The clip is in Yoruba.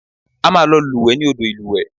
A máa lọ wẹ̀ ní odò ìlúwẹ̀ẹ́